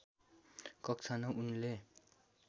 कक्षा ९ उनले